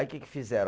Aí que que fizeram?